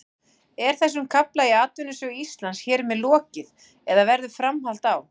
Er þessum kafla í atvinnusögu Íslands hér með lokið eða verður framhald á?